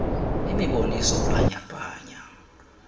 imiboniso bhanya bhanya